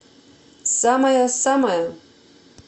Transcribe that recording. самая самая